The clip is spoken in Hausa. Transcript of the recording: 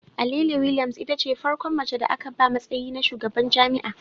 Alele Williams itace farkon mace da aka ba matsayi na shugaban jami'a